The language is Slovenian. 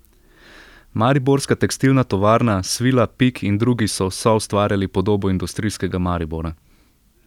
Mariborska tekstilna tovarna, Svila, Pik in drugi so soustvarjali podobo industrijskega Maribora.